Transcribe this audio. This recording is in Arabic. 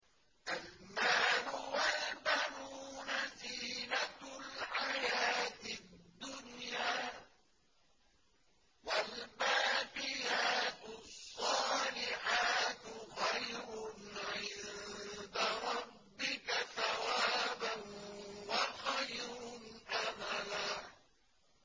الْمَالُ وَالْبَنُونَ زِينَةُ الْحَيَاةِ الدُّنْيَا ۖ وَالْبَاقِيَاتُ الصَّالِحَاتُ خَيْرٌ عِندَ رَبِّكَ ثَوَابًا وَخَيْرٌ أَمَلًا